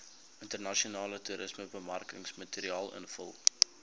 internasionale toerismebemarkingsmateriaal invul